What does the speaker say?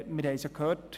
Wir haben es gehört: